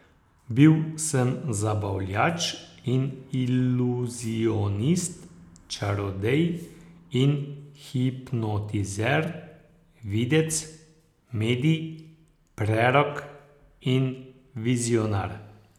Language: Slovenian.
Bil sem zabavljač in iluzionist, čarodej in hipnotizer, videc, medij, prerok in vizionar.